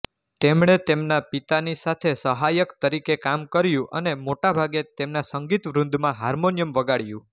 તેમણે તેમના પિતાની સાથે સહાયક તરીકે કામ કર્યું અને મોટાભાગે તેમનાં સંગીતવૃંદમાં હાર્મોનિયમ વગાડ્યું